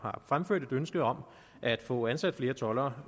har fremført et ønske om at få ansat flere toldere